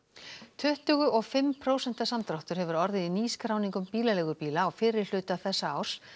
tuttugu og fimm prósenta samdráttur hefur orðið í nýskráningum bílaleigubíla á fyrri hluta þessa árs